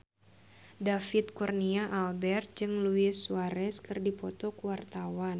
David Kurnia Albert jeung Luis Suarez keur dipoto ku wartawan